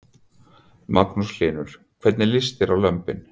Magnús Hlynur: Hvernig líst þér á lömbin?